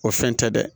O fɛn tɛ dɛ